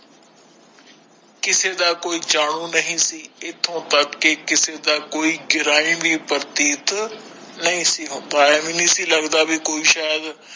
ਕਿਸੇ ਦਾ ਕੋਈ ਜਾਣੂ ਨਹੀਂ ਸੀ ਏਥੋਂ ਤਕ ਤੇ ਕਿਸੇ ਦਾ ਕੋਈ ਪ੍ਰਤੀਤ ਨਹੀਂ ਸੀ ਕੋਈ ਸ਼ਯਾਦਕਿਸੇ ਦਾ ਕੋਈ ਜਾਣੂ ਨਹੀਂ ਸੀ ਏਥੋਂ ਤਕ ਤੇ ਕਿਸੇ ਦਾ ਕੋਈ ਪ੍ਰਤੀਤ ਨਹੀਂ ਸੀ ਕੋਈ ਸ਼ਯਾਦਕਿਸੇ ਦਾ ਕੋਈ ਜਾਣੂ ਨਹੀਂ ਸੀ ਏਥੋਂ ਤਕ ਤੇ ਕਿਸੇ ਦਾ ਕੋਈ ਪ੍ਰਤੀਤ ਨਹੀਂ ਸੀ ਕੋਈ ਸ਼ਯਾਦ